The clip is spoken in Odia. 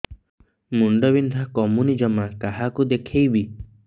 ମୁଣ୍ଡ ବିନ୍ଧା କମୁନି ଜମା କାହାକୁ ଦେଖେଇବି